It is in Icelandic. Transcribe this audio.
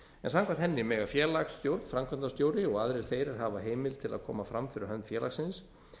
en samkvæmt henni mega félagsstjórn framkvæmdastjóri og aðrir þeir er hafa heimild til að koma fram fyrir hönd félagsins